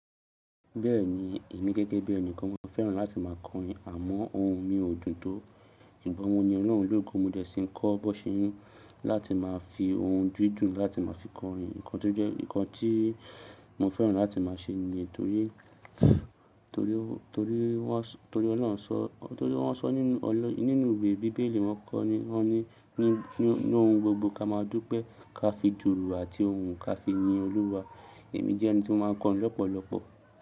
Bẹ́ẹ̀ni, èmi gẹ́gẹ́ bí ẹni kan mo fẹ́ràn láti má a kọrin àmọ́ ohun mi ò dùn tó. Ìgbà wo ni Ọlọ́run le ko mi, mo dẹ́ sí kọ́ Bọ́sẹ̀ n láti máa fi ohùn dun dun láti máa fi kọrin. Ǹnkan to je, nnkan tí mo fẹ́ràn láti má a ṣe niyen torí, tori, torí wọ́n s--, torí Ọlọ́run sọ, torí wọ́n sọ nínú, o nínú ìwé Bíbélì wọ́n kọ́ ni, wọ́n ní, ní, ní ohùn gbogbo ka máa dúpẹ́, ka fi duùrú àti ohùn ka fi yin Olúwa. Èmi jẹ́ ẹni tí ó máa n kọrin lọ́pọ̀lọpọ̀.